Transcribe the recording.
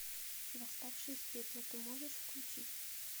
восставший из пепла ты можешь включить